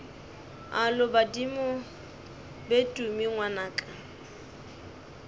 alo badimo be tumi ngwanaka